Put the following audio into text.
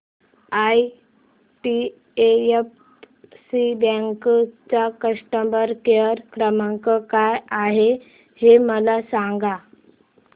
IDFC bank चा customer care क्रमांक काय आहे हे मला सांगा